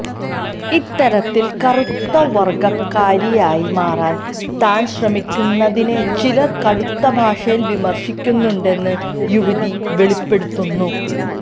ഇത്തരത്തില് കറുത്ത വര്ഗക്കാരിയായി മാറാന് താന് ശ്രമിക്കുന്നതിനെ ചിലര് കടുത്ത ഭാഷയില് വിമര്ശിക്കുന്നുണ്ടെന്നും യുവതി വെളിപ്പെടുത്തുന്നു